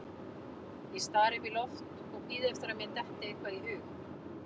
Ég stari upp í loft og bíð eftir að mér detti eitthvað í hug.